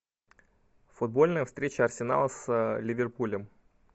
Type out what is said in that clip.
футбольная встреча арсенала с ливерпулем